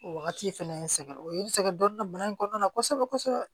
O wagati fɛnɛ n sɛgɛn o ye n sɛgɛn dɔɔnin bana in kɔnɔna na kosɛbɛ kosɛbɛ